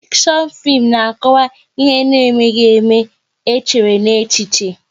Fikshon fim na akọwa ihe na emeghị ème, e chere n'echiche